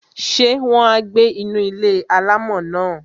Ṣé wọn á gbé inú ilé-alámọ̀ náà?